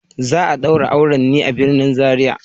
Za a daura auren ne a birnin Zaria.